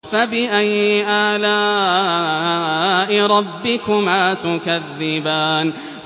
فَبِأَيِّ آلَاءِ رَبِّكُمَا تُكَذِّبَانِ